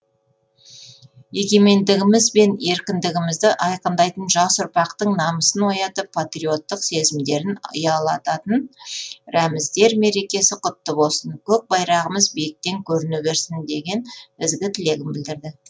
егемендіміз бен еркіндігімізді айқындайтын жас ұрпақтың намысын оятып патриоттық сезімдерін ұялататын рәміздер мерекесі құтты болсын көк байрағымыз биіктен көріне берсін деген ізгі тілегін білдірді